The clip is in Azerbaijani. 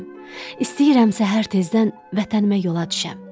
İstəyirəm səhər tezdən vətənimə yola düşəm.